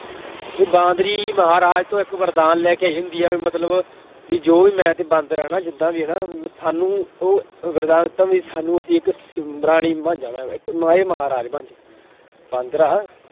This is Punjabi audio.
ਵੀ ਬਾਂਦਰੀ ਮਹਾਰਾਜ ਤੋਂ ਇੱਕ ਵਰਦਾਨ ਲੈ ਕੇ ਆਈ ਹੁੰਦੀ ਆ, ਵੀ ਮਤਲਬ ਵੀ ਜੋ ਮੈਂ ਤੇ ਬਾਂਦਰ ਹਾਂ ਨਾ ਜਿੱਦਾਂ ਵੀ ਹੈ ਨਾ ਸਾਨੂੰ ਉਹ ਵਰਦਾਨ ਦਿੱਤਾ ਵੀ ਸਾਨੂੰ ਅਸੀਂ ਇੱਕ ਪ੍ਰਾਣੀ ਬਣ ਜਾਵਾਂ ਮੈਂ ਇੱਕ ਇਹ ਮਹਾਰਾਜ ਬਣ ਜਾਏ ਬਾਂਦਰ ਆ